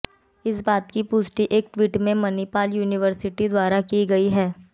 इस बात की पुष्टि एक ट्वीट में मणिपाल यूनिवर्सिटी द्वारा भी की गई